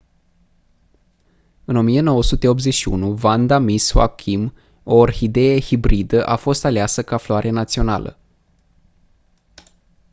în 1981 vanda miss joaquim o orhidee hibridă a fost aleasă ca floare națională